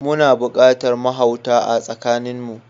Muna buƙatar mahauta a tsakanin mu.